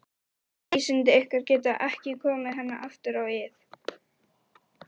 Öll vísindi ykkar geta ekki komið henni aftur á ið.